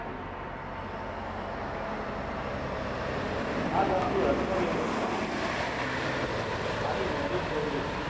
आज आपली अर्थ वेवस्था आणि उद्योगधंद्ये